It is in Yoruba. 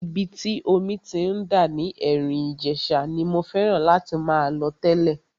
Ibi tí omi ti ń dà ní Erin Ijesa ni mo fẹ́ràn láti máa lọ tẹ́lẹ̀.